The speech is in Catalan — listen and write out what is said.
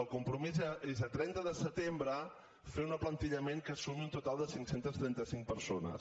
el compromís és a trenta de setembre fer un aplantillament que sumi un total de cinc cents i trenta cinc persones